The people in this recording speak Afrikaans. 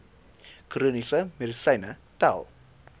chroniese medisyne tel